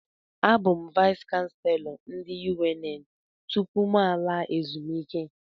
Abụ m Vais kanselọ nke UNN tụpụ mụ alaa ezumike